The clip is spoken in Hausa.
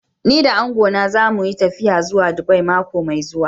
Ni da angona za mu yi tafiya zuwa Dubai mako mai zuwa.